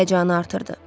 Həyəcanı artırdı.